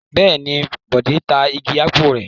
Bẹ́ẹ̀ ni, Bọ̀dé ta igi ápù rẹ̀.